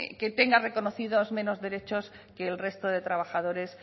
que tenga reconocidos menos derechos que el resto de trabajadores